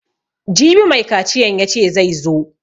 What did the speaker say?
Jibi mai kaciyan yace zai zo